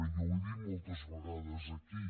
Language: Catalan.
jo ho he dit moltes vegades aquí